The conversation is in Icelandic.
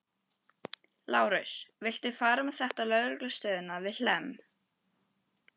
Lárus, viltu fara með þetta á lögreglustöðina við Hlemm?